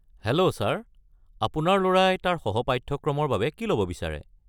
Hello, sir, আপোনাৰ ল'ৰাই তাৰ সহ-পাঠ্যক্ৰমৰ বাবে কি ল'ব বিচাৰে?